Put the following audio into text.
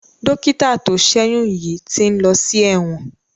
Dọ́kítà tó ṣẹ́yún yìí ti ń lọ sí ẹ̀wọ̀n.